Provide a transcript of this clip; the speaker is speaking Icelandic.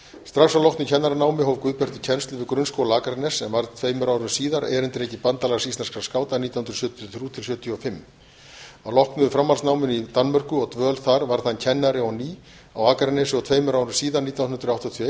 strax að loknu kennaranámi hóf guðbjartur kennslu við grunnskóla akraness en varð tveimur árum síðar erindreki bandalags íslenskra skáta nítján hundruð sjötíu og þrjú til nítján hundruð sjötíu og fimm að loknu framhaldsnáminu í danmörku og dvöl þar varð hann kennari á ný á akranesi og tveimur árum síðar nítján hundruð áttatíu